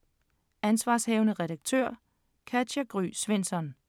Ansv. redaktør: Katja Gry Svensson